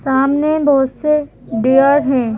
सामने बहुत से डिअर हैं।